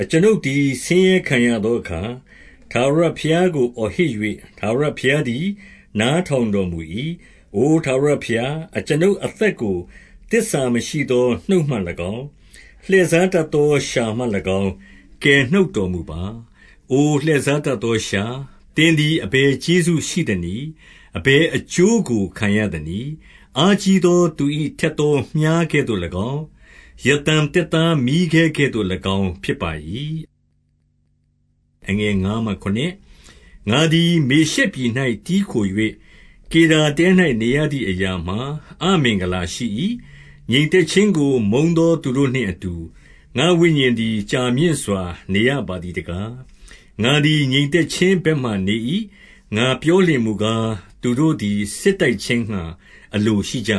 အကျွန်ုပ်သည် ဆင်းရဲခံရသောအခါ ထာဝရ ဘုရားကို အော်ဟစ်၍၊ ထာဝရဘုရားသည် နားထောင် တော်မူ၏။ 2 အိုထာဝရဘုရား၊ အကျွန်ုပ်အသက်ကို သစ္စာ မရှိသော နှုတ်မှ၎င်း၊ လှည့်စားတတ်သော လျှာမှ၎င်း ကယ်နှုတ်တော်မူပါ။ 3 အိုလှည့်စားတတ်သောလျှာ၊ သင်သည်အဘယ် ကျေးဇူးရှိ သနည်း။ အဘယ်အကျိုးကိုခံရသနည်း။ 4 အားကြီးသော သူ၏ ထက်သောမြှားကဲ့သို့၎င်း၊ ရသမ်သစ်သား မီးခဲကဲ့သို့၎င်းဖြစ်၏။ 5 ငါသည် မေရှက်ပြည်၌ တည်းခို၍၊ ကေဒါတဲ၌ နေရသည် အရာမှာ အမင်္ဂလာရှိ၏။ 6 ငြိမ်သက်ခြင်းကို မုန်းသော သူတို့နှင့်အတူ၊ ငါ့ဝိညာဉ်သည် ကြာမြင့်စွာနေရပါသည်တကား။ 7 ငါသည် ငြိမ်သက်ခြင်းဘက်မှာနေ၏။ ငါပြော လျှင်မူကား၊ သူတို့သည် စစ်တိုက်ခြင်းငှါ အလိုရှိကြ